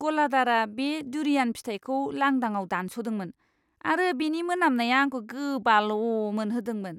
गलादारआ बे डुरियान फिथाइखौ लांदाङाव दानस'दोंमोन आरो बेनि मोनामनाया आंखौ गोबाल' मोनहोदोंमोन!